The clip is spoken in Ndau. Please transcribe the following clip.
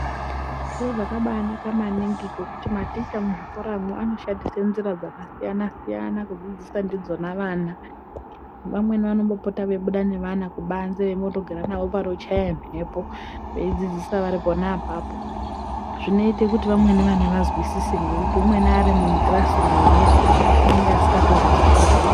Zviro zvakabaanaka maningi zvekuti maticha muzvikoramwo anoshandisa njira dzakasiyana-siyana kudzidzisa ndidzona vana. Vamweni vanombopota veibuda nevana kubanze veimbondogara navo panochaya mhepo veidzidzisa vari pona apapo. Zvinoite kuti vamweni vana vazwisise ngekuti umweni ari mukirasirumu muya unenge asingakatozwi chiro